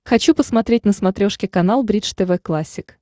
хочу посмотреть на смотрешке канал бридж тв классик